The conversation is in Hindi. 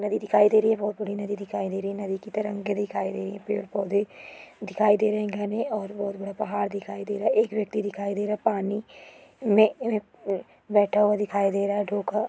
नदी दिखाई दे रही है बहुत बड़ी नदी दिखाई दे रही है नदी के तरेंगे दिखाई दे रही है पेड़-पौधे दिखाई दे रहे है घने और बहुत बड़ा पहाड़ दिखाई दे रहा है पानी में-में बैठा हुआ दिखाई दे रहा है।